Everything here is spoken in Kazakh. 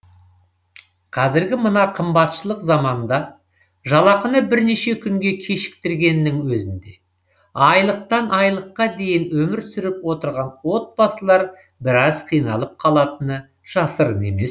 қазіргі мына қымбатшылық заманда жалақыны бірнеше күнге кешіктіргеннің өзінде айлықтан айлыққа дейін өмір сүріп отырған отбасылар біраз қиналып қалатыны жасырын емес